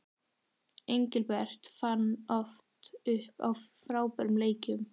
Engilbert fann oft upp á frábærum leikjum.